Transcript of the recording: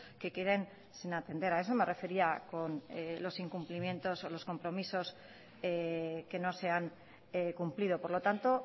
que queden sin atender a eso me refería con los incumplimientos o los compromisos que no se han cumplido por lo tanto